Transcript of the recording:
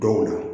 Don o la